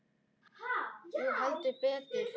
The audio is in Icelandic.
Jú, heldur betur